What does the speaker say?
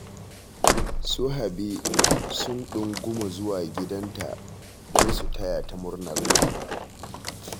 Su Habi sun ɗunguma zuwa gidanta don su taya ta murnar haihuwa